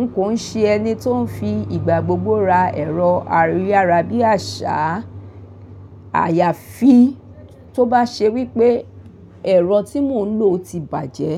N kò ń ṣe ẹni tó ń fi ìgbà gbogbo ra ẹ̀rọ ayárabíàṣá. Àyàfi tó bá ṣe wípé ẹ̀rọ tí mò ń lò ti bàjẹ́